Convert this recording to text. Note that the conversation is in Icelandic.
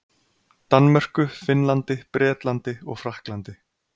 Danmörku, Finnlandi, Bretlandi og Frakklandi.